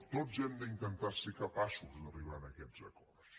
tots hem d’intentar ser capaços d’arribar a aquests acords